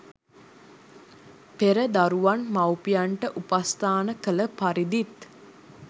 පෙර දරුවන් මවුපියන්ට උපස්ථාන කළ පරිදිත්